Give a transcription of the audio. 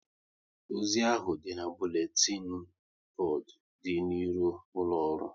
Ozi ahụ dị n'buletin bodu dị n'iro ụlọ ọrụ